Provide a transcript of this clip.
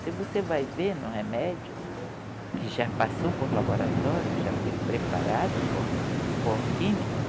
Se você vai ver no remédio, que já passou por laboratório, já foi preparado por, por químicos,